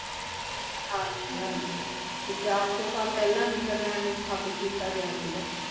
ਹਾਂ ਜੀ ਹਾਂ ਜੀ ਤੇ ਚਾਰ ਸੌ ਸਾਲ ਪਹਿਲਾਂ ਨੀਦਰਲੈਂਡ ਨੂੰ ਸਥਾਪਿਤ ਕੀਤਾ ਗਿਆ ਸੀਗਾ